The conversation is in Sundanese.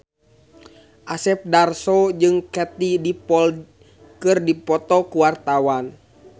Asep Darso jeung Katie Dippold keur dipoto ku wartawan